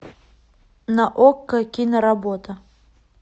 на окко киноработа